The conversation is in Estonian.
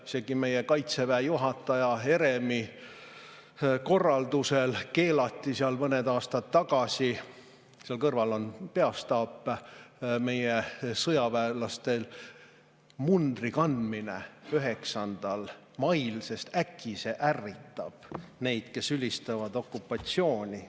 Isegi meie Kaitseväe juhataja Heremi korraldusel keelati seal mõned aastad tagasi – seal kõrval on peastaap – meie sõjaväelastel mundri kandmine 9. mail, sest äkki see ärritab neid, kes ülistavad okupatsiooni.